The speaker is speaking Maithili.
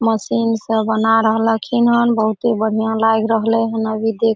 मशीन से बना रहलिखिनन बहुत बढ़िया लाग रहले हन अभी देख --